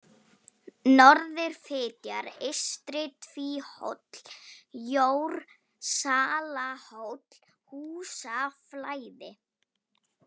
Norðurfitjar, Eystri-Tvíhóll, Jórsalahóll, Húsaflæði